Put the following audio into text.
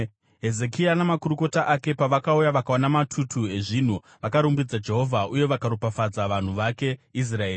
Hezekia namakurukota ake pavakauya vakaona matutu ezvinhu, vakarumbidza Jehovha uye vakaropafadza vanhu vake Israeri.